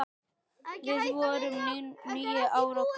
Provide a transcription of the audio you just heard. Við vorum níu ára gömul.